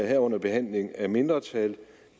herunder behandlingen af mindretal